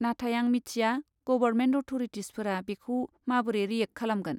नाथाय आं मिथिया गबरमेन्ट अथ'रिटिसफोरा बेखौ माबोरै रियेक्ट खालामगोन।